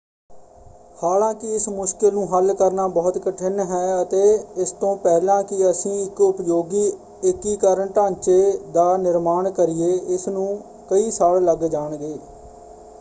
ਹਾਲਾਂਕਿ ਇਸ ਮੁਸ਼ਕਲ ਨੂੰ ਹੱਲ ਕਰਨਾ ਬਹੁਤ ਕਠਿਨ ਹੈ ਅਤੇ ਇਸ ਤੋਂ ਪਹਿਲਾਂ ਕਿ ਅਸੀਂ ਇੱਕ ਉਪਯੋਗੀ ਏਕੀਕਰਨ ਢਾਂਚੇ ਦਾ ਨਿਰਮਾਣ ਕਰੀਏ ਇਸ ਨੂੰ ਕਈ ਸਾਲ ਲੱਗ ਜਾਣਗੇ।